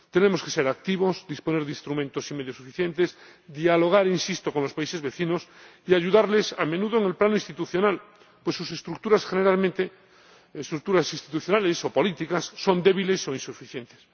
Tenemos que ser activos, disponer de instrumentos y medios suficientes, dialogar —insisto— con los países vecinos y ayudarles, a menudo, en el plano institucional, pues sus estructuras, generalmente, sus estructuras institucionales o políticas, son débiles o insuficientes.